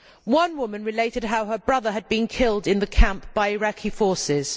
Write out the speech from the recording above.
One woman related how her brother had been killed in the camp by Iraqi forces.